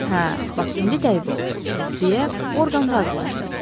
Hə, bax indi dəqiq oldu, deyə Orqan razılaşdı.